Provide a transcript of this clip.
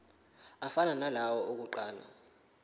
afana nalawo awokuqala